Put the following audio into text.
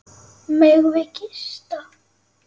Megum við gista?